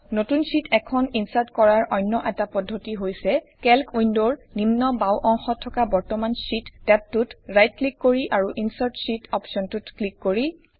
নতুন শ্বিট এখন ইনচাৰ্ট কৰাৰ অন্য এটা পদ্ধতি হৈছে কেল্ক উইন্ডৰ নিম্ন বাওঁ অংশত থকা বৰ্তমান শ্বিট টেবটোত ৰাইট ক্লিক কৰি আৰুInsert শীত অপশ্বনটোত ক্লিক কৰি